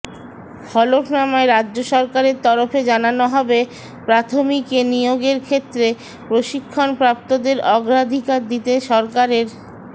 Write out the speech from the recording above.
হলফনামায় রাজ্য সরকারের তরফে জানানো হবে প্রাথমিকে নিয়োগের ক্ষেত্রে প্রশিক্ষণপ্রাপ্তদের অগ্রাধিকার দিতে সরকারের